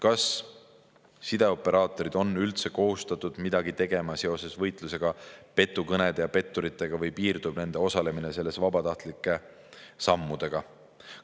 Kas sideoperaatorid on üldse kohustatud midagi tegema seoses võitlusega petukõnede ja petturitega või piirdub nende osalemine selles vabatahtlike sammudega?